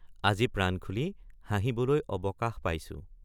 আজি প্ৰাণ খুলি হাঁহিবলৈ অৱকাশ পাইছো।